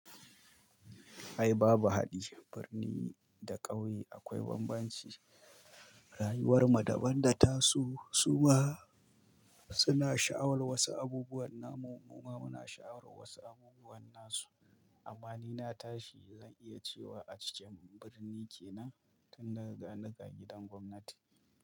Ai babu haɗi, birni da ƙauye akwai bambanci. Rayuwar mu daban da tasu, su ma suna sha'awar wasu abubuwan na mu, mu ma muna sha'awar wasu abubuwan nasu. Amma ni na tashi zan iya cewa a cikin birni ke nan, tun da ga ni ga gidan gwamnati.